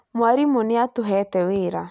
Mwarimũ nĩatũheete wĩra